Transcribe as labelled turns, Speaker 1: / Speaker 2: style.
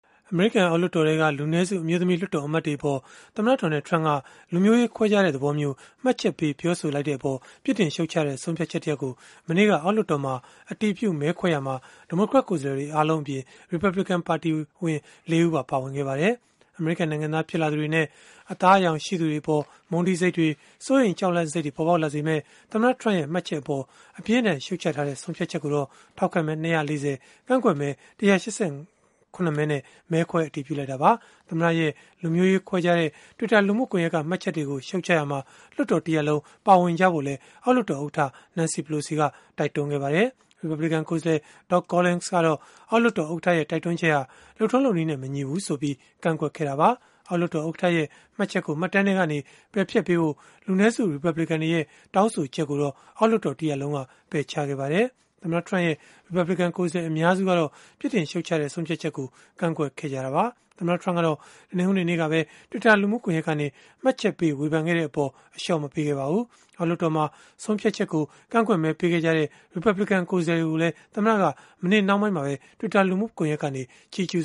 Speaker 1: အမေရိကန် အောက်လွှတ်တော်ထဲက လူနည်းစု အမျိုးသမီး လွှတ်တော် အမတ်တွေအပေါ် သမ္မတ Donald Trump က လူမျိုးရေး ခွဲခြားတဲ့ သဘောမျိုး မှတ်ချက်ပေး ပြောဆိုခဲ့တဲ့အပေါ် ပြစ်တင်ရှုတ်ချတဲ့ ဆုံးဖြတ်ချက်တရပ်ကို မနေ့က အောက်လွှတ်တော်မှာ အတည်ပြုမဲခွဲရာမှာ ဒီမိုကရက် ကိုယ်စားလှယ်တွေ အားလုံးအပြင် ရီပတ်ဘလစ်ကန် ပါတီဝင် လေး ဦးပါ ပါဝင်ခဲ့ပါတယ်။ အမေရိကန် နိုင်ငံသား ဖြစ်လာသူတွေနဲ့ အသားအရောင်ရှိသူတွေအပေါ် မုန်းတီးစိတ်တွေ၊ စိုးရိမ်ကြောက်လန့်စိတ်တွေ ပေါ်ပေါက်လာစေမယ့် သမ္မတ Trump ရဲ့ မှတ်ချက်အပေါ် အပြင်းအထန် ရှုတ်ချထားတဲ့ ဆုံးဖြတ်ချက်ကိုတော့ ထောက်ခံမဲ ၂၄၀၊ ကန့်ကွက်မဲ ၁၈၇ နဲ့ မဲခွဲ အတည်ပြုလိုက်တာပါ။ သမ္မတရဲ့ လူမျိုးရေးခွဲခြားတဲ့ Twitter လူမှုကွန်ရက်က မှတ်ချက်တွေကို ရှုတ်ချရာမှာ လွှတ်တော် တရပ်လုံး ပါဝင်ကြဖို့လည်း အောက်လွှတ်တော်ဥက္ကဋ္ဌ Nancy Pelosi က တိုက်တွန်းခဲ့ပါတယ်။ ရီပတ်ဘလစ်ကန် ကိုယ်စားလှယ် Doug Collins ကတော့ အောက်လွှတ်တော် ဥက္ကဋ္ဌရဲ့ တိုက်တွန်းချက်ဟာ လုပ်ထုံးလုပ်နည်းနဲ့ မညီဘူးဆိုပြီး ကန့်ကွက်ခဲ့တာပါ။ အောက်လွှတ်တော် ဥက္ကဋ္ဌရဲ့ မှတ်ချက်ကို မှတ်တမ်းကနေ ပယ်ဖျက်ဖို့ လူနည်းစု ရီပတ်ဘလစ်ကန်တွေရဲ့ တောင်းဆိုချက်ကိုတော့ အောက်လွှတ်တော် တရပ်လုံးက ပယ်ချခဲ့ပါတယ်။ သမ္မတ Trump ရဲ့ ရီပတ်ဘလစ်ကန် ကိုယ်စားလှယ် အများစုကတော့ ပြစ်တင်ရှုတ်ချတဲ့ ဆုံးဖြတ်ချက်ကို ကန့်ကွက်ခဲ့ကြတာပါ။ သမ္မတ Trump ကတော့ တနင်္ဂနွေနေ့က Twitter လူမှုကွန်ရက်ကနေ မှတ်ချက်ပေး ဝေဖန်ခဲ့တဲ့အပေါ် အလျှော့မပေးခဲ့ပါဘူး။ အောက်လွှတ်တော်မှာ ဆုံးဖြတ်ချက်ကို ကန့်ကွက်မဲ ပေးခဲ့ကြတဲ့ ရီပတ်ဘလစ်ကန် ကိုယ်စားလှယ်တွေကိုလည်း သမ္မတက မနေ့နှောင်းပိုင်းမှာပဲ Twitter ကနေ ချီးကျူး